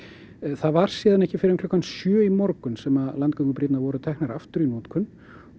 það var síðan ekki fyrr en klukkan sjö í morgun sem landgöngubrýrnar voru teknar aftur í notkun